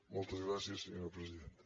moltes gràcies senyora presidenta